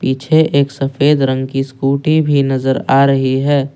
पीछे एक सफेद रंग की स्कूटी भी नजर आ रही है।